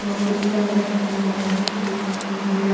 और पुतला रखा हुआ है एक महिला--